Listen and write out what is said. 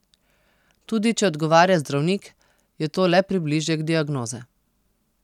Tudi če odgovarja zdravnik, je to le približek diagnoze.